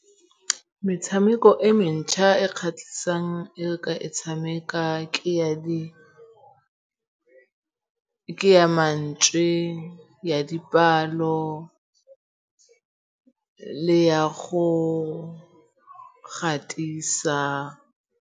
Metshameko e mentšha e kgatlhisang e re ka e tshameka ke ya mantšwe, ya dipalo le ya go gatisa.